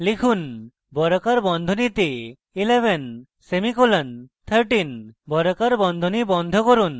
লিখুন বর্গাকার বন্ধনীতে 11 সেমিকোলন 13 বর্গাকার বন্ধনী বন্ধ করুন